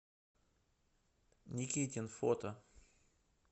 никитин фото